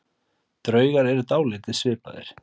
Draugar eru dálítið svipaðir.